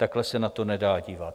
Takhle se na to nedá dívat.